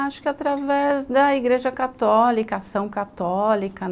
Acho que através da igreja católica, a ação católica.